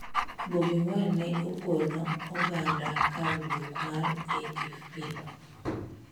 Bobi Wine ne okono oganda kar duok mar AFP.